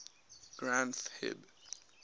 granth hib